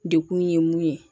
Dekun ye mun ye